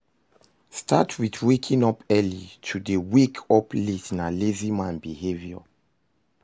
Start with waking up early to de wake up late na lazy man behavior